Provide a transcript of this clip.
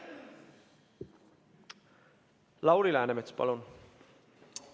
Lauri Läänemets, palun!